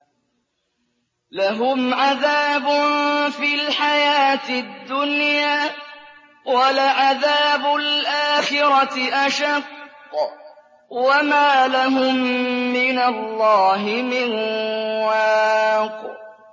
لَّهُمْ عَذَابٌ فِي الْحَيَاةِ الدُّنْيَا ۖ وَلَعَذَابُ الْآخِرَةِ أَشَقُّ ۖ وَمَا لَهُم مِّنَ اللَّهِ مِن وَاقٍ